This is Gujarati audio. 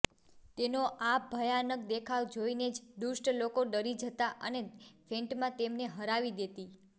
તેનો આ ભયાનક દેખાવ જોઈને જ દુષ્ટ લોકો ડરી જતાં અને ફેન્ટમા તેમને હરાવી દેતી